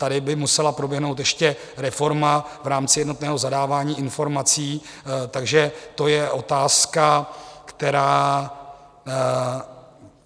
Tady by musela proběhnout ještě reforma v rámci jednotného zadávání informací, takže to je otázka, která...